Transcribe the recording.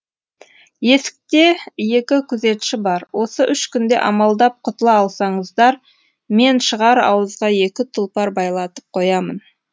есікте екі күзетші бар осы үш күнде амалдап құтыла алсаңыздар мен шығар ауызға екі тұлпар байлатып қоямын